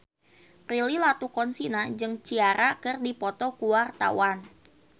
Prilly Latuconsina jeung Ciara keur dipoto ku wartawan